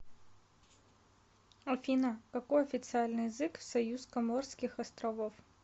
афина какой официальный язык в союз коморских островов